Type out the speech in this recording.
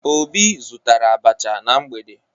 Obi zụtara abacha na mgbede